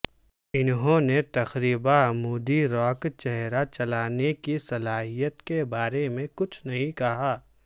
انہوں نے تقریبا عمودی راک چہرہ چلانے کی صلاحیت کے بارے میں کچھ نہیں کہا